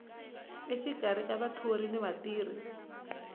exikarhi ka vathori na vatirhi